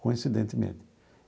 Coincidentemente.